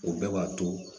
O bɛɛ b'a to